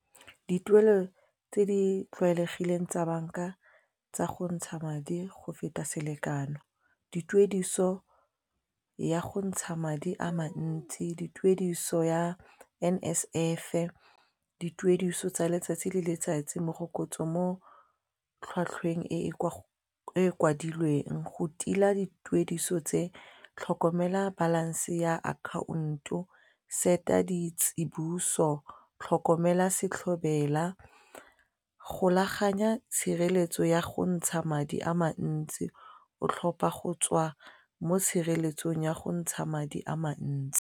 Dituelo tse di tlwaelegileng tsa banka tsa go ntsha madi go feta selekano, dituediso ya go ntsha madi a mantsi, dituediso ya N_S_F, dituediso tsa letsatsi le letsatsi morokotso mo tlhwatlhweng e e kwadilweng go tila dituediso tse tlhokomela balance ya account-o, set-a ditseboso, tlhokomela setlhobela, golaganya tshireletso ya go ntsha madi a mantsi o tlhopha go tswa mo tshireletsong ya go ntsha madi a mantsi.